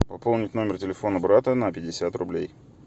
пополнить номер телефона брата на пятьдесят рублей